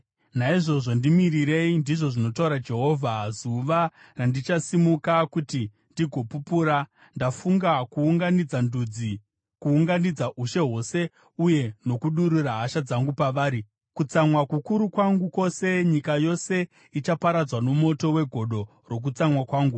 Naizvozvo ndimirirei,” ndizvo zvinotaura Jehovha, “zuva randichasimuka kuti ndigopupura. Ndafunga kuunganidza ndudzi, kuunganidza ushe hwose uye nokudurura hasha dzangu pavari, kutsamwa kukuru kwangu kwose. Nyika yose ichaparadzwa nomoto wegodo rokutsamwa kwangu.